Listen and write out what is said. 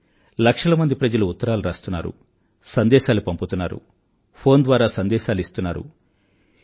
కానీ లక్షల మంది ప్రజలు ఉత్తరాలు రాస్తున్నారు సందేశాలు పంపుతున్నారు ఫోన్ ద్వారా సందేశాలు ఇస్తున్నారు